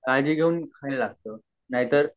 याचे पण काळजी घ्यावी लागते